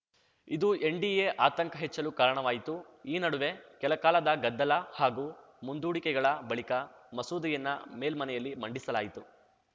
ಇದು ಎನ್‌ಡಿಎ ಆತಂಕ ಹೆಚ್ಚಲು ಕಾರಣವಾಯಿತು ಈ ನಡುವೆ ಕೆಲಕಾಲದ ಗದ್ದಲ ಹಾಗೂ ಮುಂದೂಡಿಕೆಗಳ ಬಳಿಕ ಮಸೂದೆಯನ್ನ ಮೇಲ್ಮನೆಯಲ್ಲಿ ಮಂಡಿಸಲಾಯಿತು